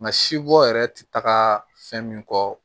Nka si bɔ yɛrɛ tɛ taga fɛn min kɔ